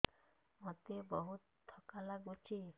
ମୋତେ ବହୁତ୍ ଥକା ଲାଗୁଛି